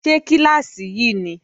Ṣé kíláàsì yí ni?